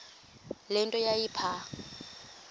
le nto yayipha